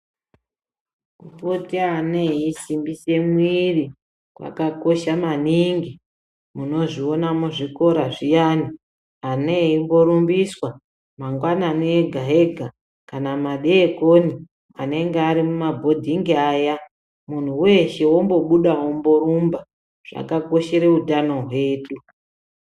Kupote ana eisimbise mwiri kwakakosha maningi. Unozviona muzvikora zviyani ana eingorumbiswa mangwanani ega ega kana madekoni anenge ari mumabhodhingi vaya muntu weshe wombobuda womborumba. Zvakakoshera utano hwedu.